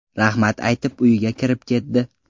Rahmat aytib, uyiga kirib ketdi.